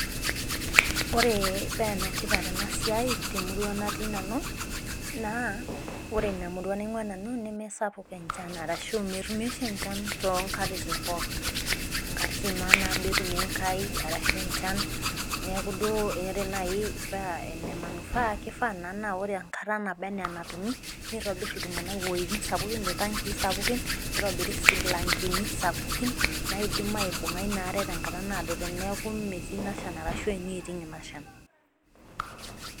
Ore paa ene tipat ena siai temurua natii nanu. naa ore Ina murua natii nanu neme sapuk enchan. arashu metumu oshi enchan too nkatitin pooki. nkatitin maa nabo etumi ashu en chan. neeku ore naaji paa ene manufaa naa kifaa naa ore enkata naba anaa enatumi naa kitobir iltunganak, iwuejitin sapukin iltankii Sapuki. nitobiri sii mlangeni sapukin. naaidim aibung'a Ina are tenkata naado teneeku metii Ina Shan arashu eneiting Ina Shan.